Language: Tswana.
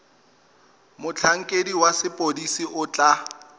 motlhankedi wa sepodisi o tla